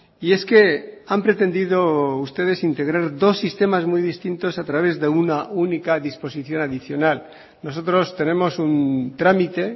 y es que han pretendido ustedes integrar dos sistemas muy distintos a través de una única disposición adicional nosotros tenemos un trámite